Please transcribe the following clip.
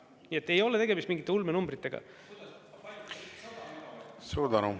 Nii et ei ole tegemist mingite ulmenumbritega. .